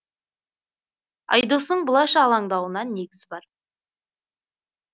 айдостың бұлайша алаңдауына негіз бар